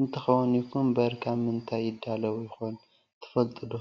እንትከውን ይኩንእንበር ካብ ምንታይ ይዳለው ይኮን ትፈልጥዶ?